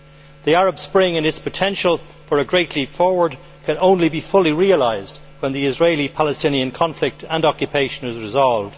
The Arab Spring and its potential for a great leap forward can only be fully realised when the Israeli Palestinian conflict and occupation is resolved.